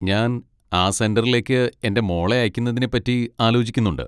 ഞാൻ ആ സെന്ററിലേക്ക് എൻ്റെ മോളെ അയക്കുന്നതിനെ പറ്റി ആലോചിക്കുന്നുണ്ട്.